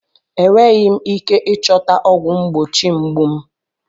Enweghị m ike ịchọta ọgwụ mgbochi mgbu m.